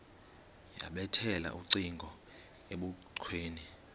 yabethela ucingo ebukhweni